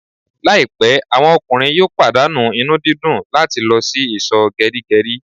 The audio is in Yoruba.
Laipẹ àwọn ọkùnrin yóò pàdánù inú dídùn làti lọ sì iso gerigeri